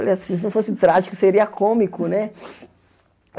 Falei assim, se não fosse trágico, seria cômico, né?